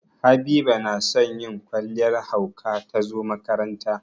Habiba na son yin kwalliyar hauka ta zo makaranta.